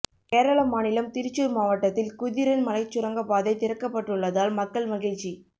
கேரள மாநிலம் திருச்சூர் மாவட்டத்தில் குதிரன் மலைச் சுரங்கப்பாதை திறக்கப்பட்டுள்ளதால் மக்கள் மகிழ்ச்சி